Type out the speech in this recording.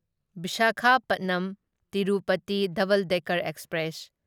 Visakhapatnam Tirupati double decker express